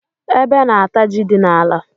Ébé na -ata jị dị n'ala.